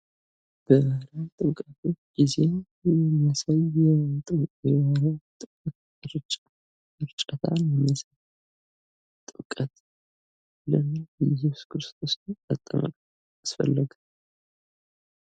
በጥምቀት ጊዜ የሚያሳይ የጥምቀት እርጨታን ይመስላል ።ጥምቀት የእየሱስ ክርስቶስ መጠመቅ ለምን አስፈለገ?